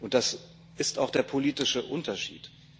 Das ist auch der politische Unterschied.